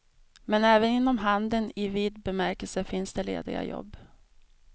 Men även inom handel i vid bemärkelse finns det lediga jobb.